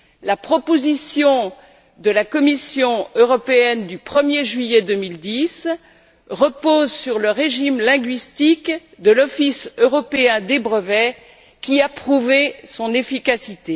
La proposition de la Commission européenne du 1er juillet 2010 repose sur le régime linguistique de l'Office européen des brevets, qui a prouvé son efficacité.